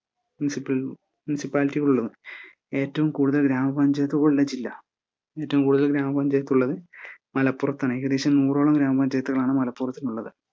Municipal ~ മുനിസിപ്പാലിറ്റികളുള്ളത്. ഏറ്റവും കൂടുതൽ ഗ്രാമ പഞ്ചായത്തുകളുള്ള ജില്ലാ? ഏറ്റവും കൂടുതൽ ഗ്രാമപഞ്ചായത്തുള്ളതു മലപ്പുറത്താണ് ഏകദേശം നൂറോളം ഗ്രാമപഞ്ചയത്തുകളാണ് മലപ്പുറത്തുള്ളത്.